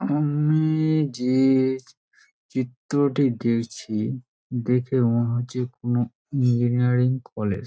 আমি-ই-ই যে চিত্রটি দেখছি দেখে মনে হচ্ছে কোনো ইঞ্জিনিয়ারিং কলেজ ।